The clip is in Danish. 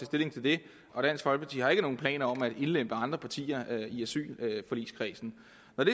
stilling til det og dansk folkeparti har ikke nogen planer om at indlemme andre partier i asylforligskredsen